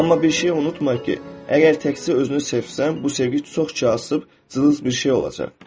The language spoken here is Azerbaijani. Amma bir şeyi unutma ki, əgər təkcə özünü sevsən, bu sevgi çox kasıb, cılız bir şey olacaq.